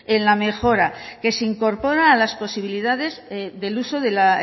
en la mejora que se incorpora a las posibilidades del uso de la